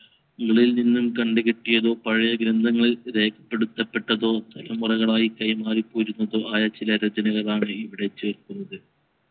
കളിൽ നിന്നും കണ്ടുകിട്ടിയതോ പഴയ ഗ്രന്ഥങ്ങളിൽ രേഖപെടുത്തപ്പെട്ടതോ തലമുറകളായ് കൈമാറിപോരുന്നതോ ആയ ചില രചനകളാണ് ഇവിടെ ചേർക്കുന്നത്